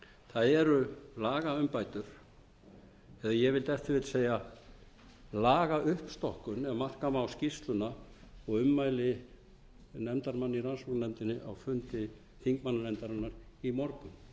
það eru lagaumbætur eða ég vil ef til vill segja lagauppstokkun ef marka má skýrsluna og ummæli nefndarmanna í rannsóknarnefndinni á fundi þingmannanefndarinnar í morgun það sé meira en umbætur sem